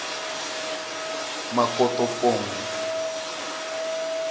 makotopong